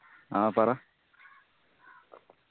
ആ പറ